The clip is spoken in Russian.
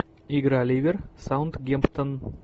игра ливер саутгемптон